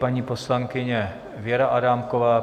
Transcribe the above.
Paní poslankyně Věra Adámková.